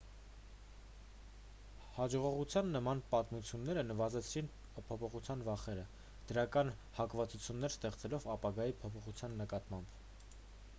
հաջողողության նման պատմությունները նվազեցրին փոփոխության վախերը դրական հակվածություններ ստեղծելով ապագայի փոփոխության նկատմամբ